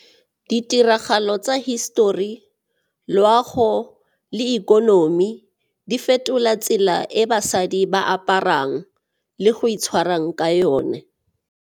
Ditiragalo tsa hisetori, loago le ikonomi di fetola tsela e basadi ba aparang le go itshwarang ka yone.